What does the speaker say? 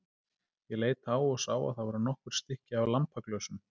Ég leit á og sá að það voru nokkur stykki af lampaglösum.